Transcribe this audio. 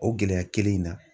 O gɛlɛya kelen in na.